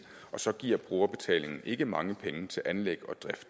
og så giver brugerbetaling ikke mange penge til anlæg